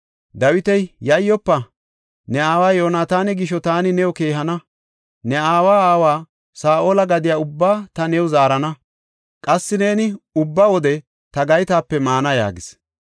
Dawiti, “Yayyofa; ne aawa Yoonataana gisho taani new keehana. Ne aawa aawa Saa7ola gadiya ubbaa taani new zaarana; qassi neeni ubba wode ta gaytape maana” yaagis.